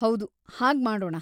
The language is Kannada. ಹೌದು, ಹಾಗ್‌ ಮಾಡೋಣ.